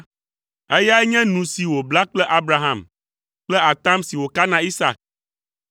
eyae nye nu si wòbla kple Abraham kple atam si wòka na Isak.